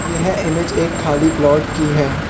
यह इमेज एक खाली प्लॉट की है।